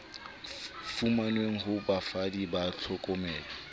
fumanweng ho bafani ba tlhokomelo